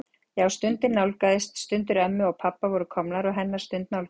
Já, stundin nálgaðist, stundir ömmu og pabba voru komnar og hennar stund nálgaðist.